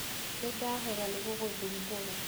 Nĩndahera nĩgũgũthumbũra.